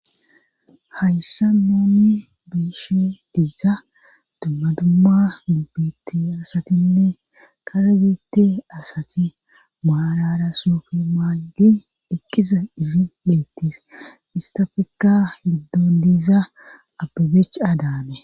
Hayssa nooni biishe diisa dumma dumma nubbitti asatinne kara yuutte asati maalara soofi maagi eqqiza izi leettis istafekka hiddon diisa abebech-adaane.